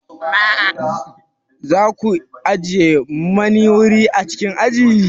Za ku ajiye mani wuri a cikin aji?